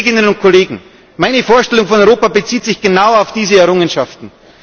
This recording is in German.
Liebe Kolleginnen und Kollegen, meine Vorstellung von Europa bezieht sich genau auf diese Errungenschaften.